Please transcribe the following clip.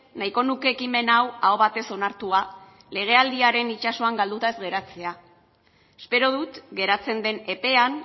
nahiko nuke ekimen hau aho batez onartua legealdiaren itsasoan galduta ez geratzea espero dut geratzen den epean